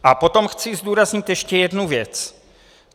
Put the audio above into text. A potom chci zdůraznit ještě jednu věc.